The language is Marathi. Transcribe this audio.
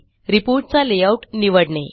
रिपोर्ट चा लेआऊट निवडणे